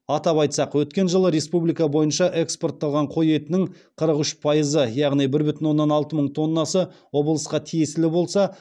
атап айтсақ өткен жылы республика бойынша экспортталған қой етінің қырық үш пайызы яғни бір бүтін оннан алты мың тоннасы облысқа тиесілі болса